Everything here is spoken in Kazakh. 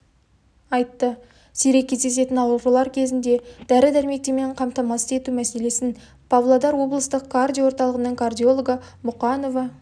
айтты сирек кездесетін аурулар кезінде дәрі-дәрмектермен қамтамасыз ету мәселесін павлодар облыстық кардио орталығының кардиологы мұқанова